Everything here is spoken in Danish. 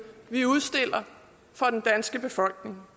vi udstiller for den danske befolkning